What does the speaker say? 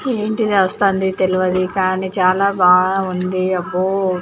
ఏంటి రాస్తాంది తెలువది కానీ చాలా బాగా ఉంది అబ్బో